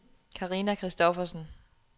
Karina Christoffersen